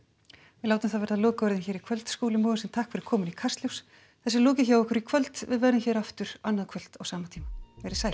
við látum það verða lokaorðin hér í kvöld Skúli Mogensen takk fyrir komuna í Kastljós þessu er lokið hjá okkur í kvöld við verðum hér aftur annað kvöld á sama tíma verið sæl